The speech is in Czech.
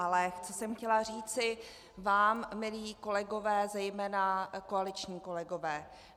Ale co jsem chtěla říct vám, milí kolegové, zejména koaliční kolegové.